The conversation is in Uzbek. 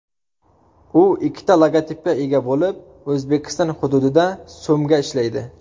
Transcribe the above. U ikkita logotipga ega bo‘lib, O‘zbekiston hududida so‘mga ishlaydi.